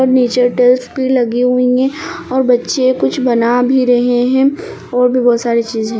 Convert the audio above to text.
और नीचे डेस्क भी लगी हुई है और बच्चे कुछ बना भी रहे है और भी बहोत सारी चीज है।